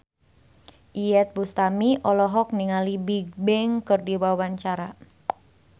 Iyeth Bustami olohok ningali Bigbang keur diwawancara